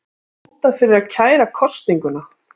Hótað fyrir að kæra kosninguna